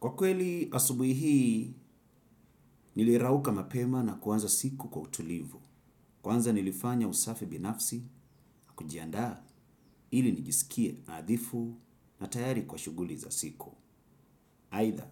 Kwa kweli asubuhi hii, nilirauka mapema na kuanza siku kwa utulivu. Kwanza nilifanya usafi binafsi na kujiandaa ili nijisikie nadhifu na tayari kwa shuguli za siku. Aitha,